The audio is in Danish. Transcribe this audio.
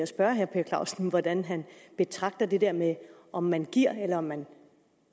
spørge herre per clausen hvordan han betragter det der med om man giver eller man